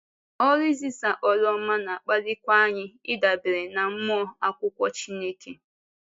Ọ́rụ izisa ọ́rụ ọma na-akpalikwa anyị ịdabere ná Mmụọ Ákwụkwọ Chíneké.